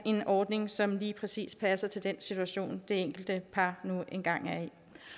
ordning som lige præcis passer til den situation det enkelte par nu engang er